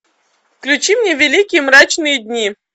включи мне великие мрачные дни